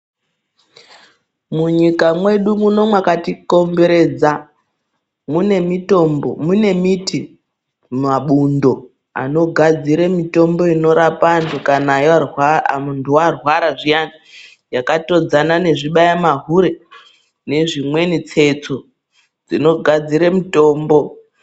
Munyika mwedu muno mwakati komberedza mune mitombo mune miti, mabundo inogadzira mitombo inorapa antu kana muntu varwara zviyani. Yakatodzana nezvibaya mahure nezvimweni tsetso dzinogadzire mutombo.